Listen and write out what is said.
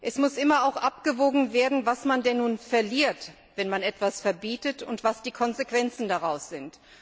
Es muss auch immer abgewogen werden, was man denn nun verliert, wenn man etwas verbietet, und was die Konsequenzen daraus sind.